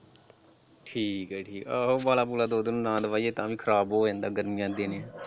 ਠੀਕ ਹੈ ਜੀ ਆਹੋ ਉਬਾਲਾ ਉਬੁਲਾ ਦੋ ਤਿੰਨ ਨਾ ਦਵਾਈਏ ਤਾਂ ਵੀ ਖਰਾਬ ਹੋ ਜਾਂਦਾ ਗਰਮੀਆਂ ਦੇ ਦਿਨ ਹੈ।